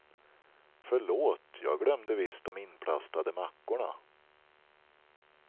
Förlåt, jag glömde visst de inplastade mackorna.